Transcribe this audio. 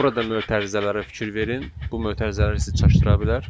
Burada mötərizələrə fikir verin, bu mötərizələr sizi çaşdıra bilər.